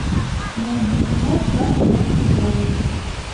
найди кино самый громкий голос